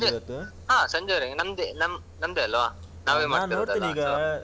ಹಾ ಸಂಜೆ ಹಾ ಸಂಜೆವರೆಗೆ ನಮ್ದೆ ನಮ್ ನಾಮ್ದೆಲ್ವ. ನಾವೇ ಮಾಡ್ತಾ ಇರುದಲ್ವಾ.